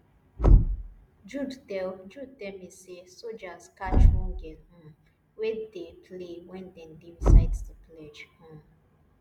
jude tell jude tell me say soldiers catch one girl um wey dey play wen dem dey recite the pledge um